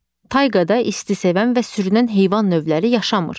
Tayqada isti sevən və sürünən heyvan növləri yaşamır.